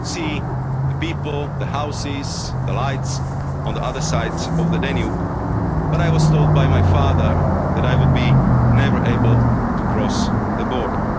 single day. I could see the people, the houses and the lights on the other side of the Danube, but I was told by my father that I would never be able to cross